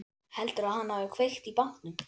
Heldurðu að hann hafi kveikt í bátnum?